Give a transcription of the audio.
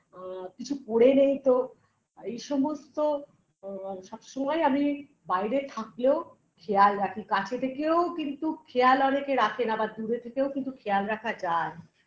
ও কিছু পরে নেই তো এই সমস্ত ও সবসময় আমি বাইরে থাকলেও খেয়াল রাখি কাছে থেকেও কিন্তু খেয়াল অনেকে রাখেনা বা দূরে থেকেও কিন্তু খেয়াল রাখা যায়